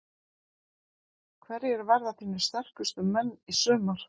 Hverjir verða þínir sterkustu menn í sumar?